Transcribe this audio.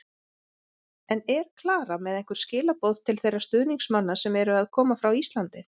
En er Klara með einhver skilaboð til þeirra stuðningsmanna sem eru að koma frá Íslandi?